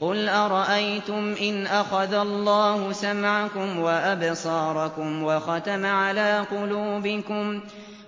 قُلْ أَرَأَيْتُمْ إِنْ أَخَذَ اللَّهُ سَمْعَكُمْ وَأَبْصَارَكُمْ